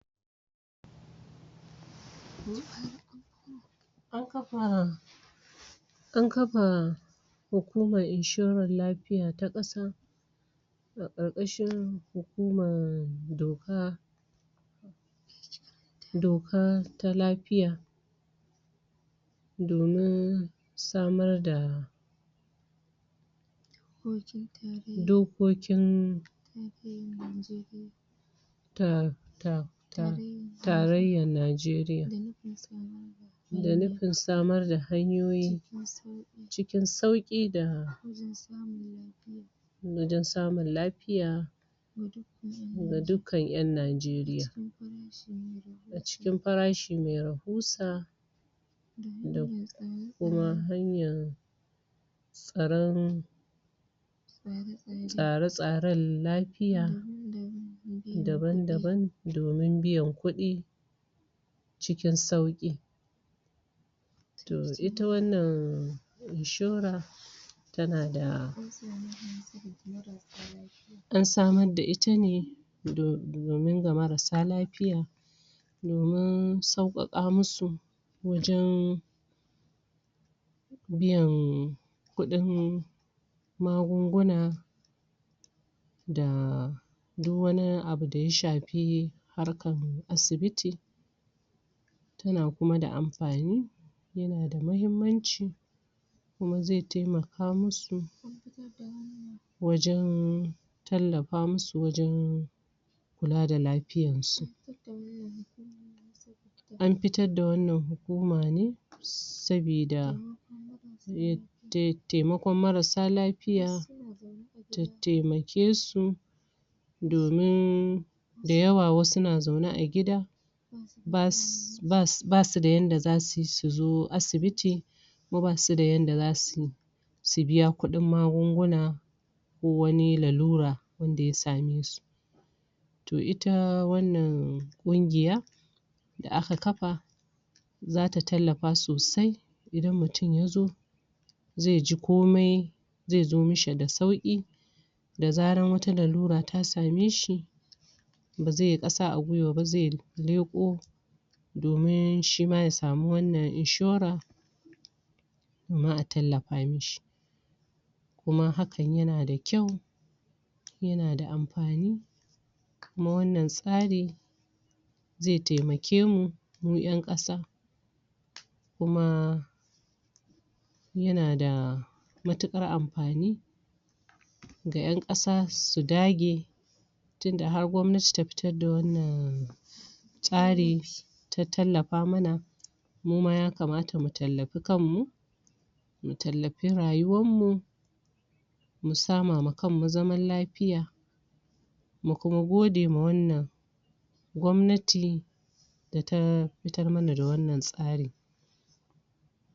An kafa Hukumar Inshorar Lafiya ta Ƙasa ƙarƙashin hukumar doka doka ta lafiya domin samar da dokokin um Tarayyar Najeriya da nufin samar da hanyoyi cikin sauƙi da wajen samun lafiya ga dukkan ƴan Najeriya. a cikin farashi mai rahusa da kuma hanyar tsaron tsare-tsaren lafiya dabam-daban domin biyan kuɗi cikin sauƙi to ita wannan inshora tana da an samar da ita ne domin ga marassa lafiya domin sauƙaƙa musu wajen biyan kuɗin magunguna da duk wani abu da ya shafi harkar asibiti tana kuma da amfani yana da muhimmanci kuma zai taimaka musu wajen tallafa musu wajen kula da lafiyarsu. An fitar da wannan hukuma ne saboda taimakon marassa lafiya ta tattaimake su domin da yawa wasu na zaune a gida ba su ba su da yanda za su yi su zo asibiti ko ba su da yanda za su yi su biya kuɗin magunguna ko wani lalura wanda ya same su to ita wannan ƙungiya da aka kafa za ta tallafa sosai idan mutum ya zo zai ji komai zai zo mishi da sauƙi da zaran wata lalura ta same shi ba zai yi ƙasa aguiwa ba zai leƙo, domin shi ma ya samu wannan inshora sannan a tallafa mishi. kuma hakan yana da kyau, yana da amfani kuma wanna tsarin zai taimake mu mu ƴan ƙasa kuma yana da matuƙar amfani ga ƴan ƙasa su dage tunda har gwamnati ta fitar da wannan tsari ta tallafa mana mu ma ya kamata mu tallafi kanmu. mu tallafi rayuwarmu, mu sama ma kanmu zaman lafiya Mu kuma gode ma wannan gwamnati da ta fitar mana da wannan tsarin.